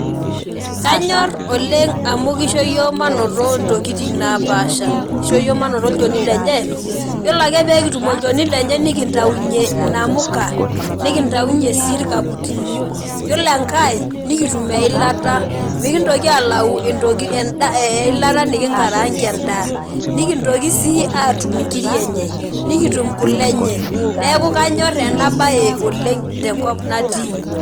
Kanyor oleng amu kisho yiok mainoto ntokitin napaasha kisho yiok mainoto olchoni lenye yiolobake pekitum olchoni lenye nikintaunye namuka nikintaunye si irkaputini yiolo enkae nikitum eilata mikintoki eilata nikingarangie endaa nikintoki si atum nkir enye nikitum kule enye neaku kanyor enabae oleng tenkop natii.